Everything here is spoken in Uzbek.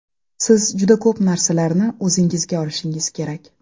Siz juda ko‘p narsalarni o‘zingizga olishingiz kerak.